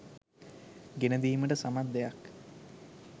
ගෙනදීමට සමත් දෙයක්.